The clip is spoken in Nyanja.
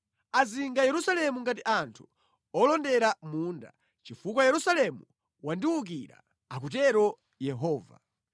Azinga Yerusalemu ngati anthu olondera munda, chifukwa Yerusalemu wandiwukira,’ ” akutero Yehova.